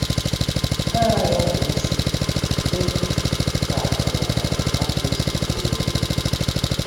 Ha aghaghị ịnọ n’isi, dị ka um a pụrụ isi kwuo ya.